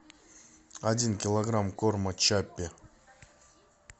один килограмм корма чаппи